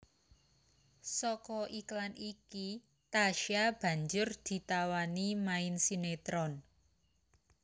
Saka iklan iki Tasya banjur ditawani main sinetron